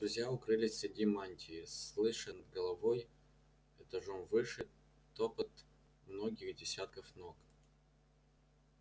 друзья укрылись среди мантий слыша над головой этажом выше топот многих десятков ног